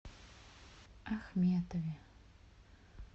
ахметове